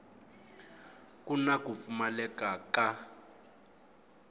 ku na ku pfumaleka ka